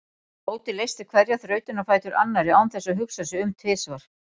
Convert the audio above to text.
Tóti leysti hverja þrautina á fætur annarri án þess að hugsa sig um tvisvar.